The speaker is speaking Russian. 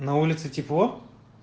на улице тепло